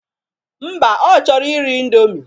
Mba, ọ chọrọ iri ịndomi